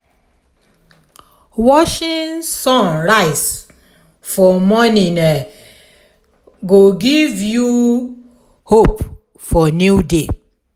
watching sun rise for morning go give you hope for new day.